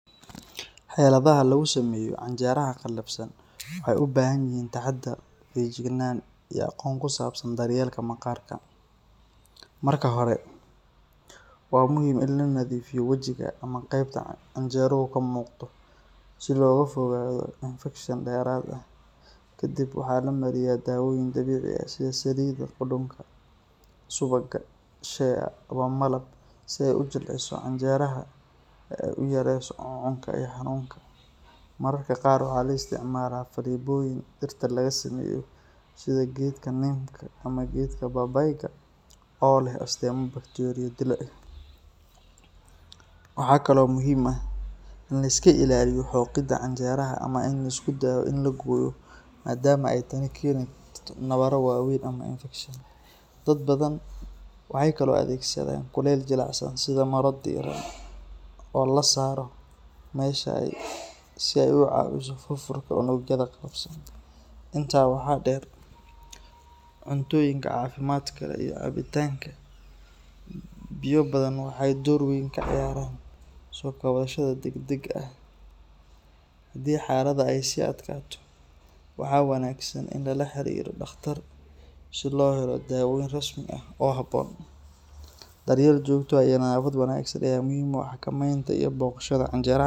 Xeladaha lagu sameeyo canjeraha qalafsan waxay u baahan yihiin taxadar, feejignaan iyo aqoon ku saabsan daryeelka maqaarka. Marka hore, waa muhiim in la nadiifiyo wajiga ama qaybta canjeruhu ka muuqdo si looga fogaado infekshan dheeraad ah. Kadib, waxaa la mariyaa daawooyin dabiici ah sida saliidda qudhunka, subagga shea ama malab si ay u jilciso canjeraha oo ay u yareyso cuncunka iyo xanuunka. Mararka qaar, waxaa la isticmaalaa faleebooyin dhirta laga sameeyo sida geedka nim-ka ama geedka babayga oo leh astaamo bakteeriyo dilo ah. Waxaa kale oo muhiim ah in la iska ilaaliyo xoqidda canjeraha ama in la isku dayo in la gooyo, maadaama ay tani keeni karto nabarro waaweyn ama infekshan. Dad badan waxay kaloo adeegsadaan kulayl jilicsan sida maro diiran oo la saaro meesha si ay u caawiso furfurka unugyada qalafsan. Intaa waxaa dheer, cuntooyinka caafimaadka leh iyo cabitaanka biyo badan waxay door weyn ka ciyaaraan soo kabashada degdega ah. Haddii xaalada ay sii adkaato, waxaa wanaagsan in lala xiriiro dhaqtar si loo helo daaweyn rasmi ah oo habboon. Daryeel joogto ah iyo nadaafad wanaagsan ayaa muhiim u ah xakamaynta iyo bogsashada canjeraha qalafsan.